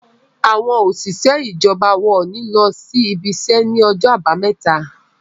àwọn òṣìṣẹ́ ijọba wón ní ló ibise ní Ọjọ́ Àbàmẹ́ta